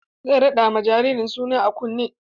Zai raɗa ma jaririn suna a kunne.